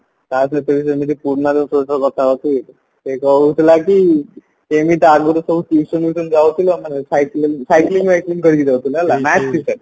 ଟା ସହିତ ବି ସେମିତି ପୁରୁଣା କଥା ହଉଚି ସେ କହୁଥିଲା କି କେମିତି ଆଗରୁ ସବୁ tuition ଫିଉସନ ଯାଉଥିଲୁ ଆମର cycling cycling ଫାଇକେଲିଙ୍ଗ କରିକି ଯାଉଥିଲୁ ହେଲା